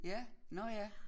Ja nåh ja